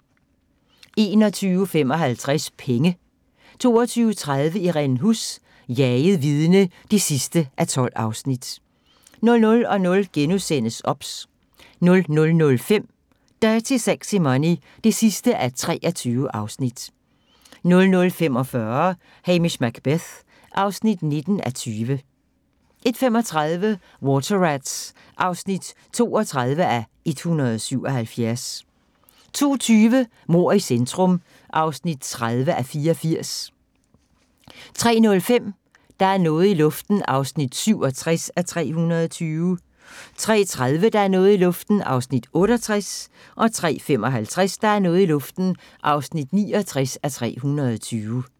21:55: Penge 22:30: Irene Huss: Jaget vidne (12:12) 00:00: OBS * 00:05: Dirty Sexy Money (23:23) 00:45: Hamish Macbeth (19:20) 01:35: Water Rats (32:177) 02:20: Mord i centrum (30:84) 03:05: Der er noget i luften (67:320) 03:30: Der er noget i luften (68:320) 03:55: Der er noget i luften (69:320)